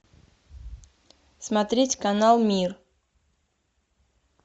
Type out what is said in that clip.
смотреть канал мир